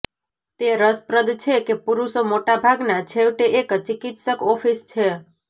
તે રસપ્રદ છે કે પુરુષો મોટા ભાગના છેવટે એક ચિકિત્સક ઓફિસ છે